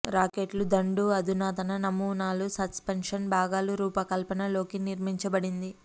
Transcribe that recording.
రాకెట్లు దండు అధునాతన నమూనాలు సస్పెన్షన్ భాగాలు రూపకల్పన లోకి నిర్మించబడింది